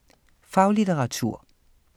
Faglitteratur